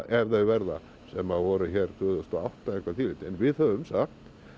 ef þau verða sem að voru hér tvö þúsund og átta eða eitthvað en við höfum samt